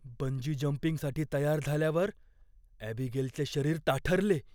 Bungee जंपिंगसाठी तयार झाल्यावर ॲबीगेलचे शरीर ताठरले.